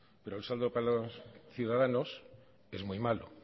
pero el saldo para los ciudadanos es muy malo